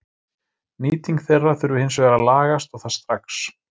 Nýting þeirra þurfi hins vegar að lagast og það strax.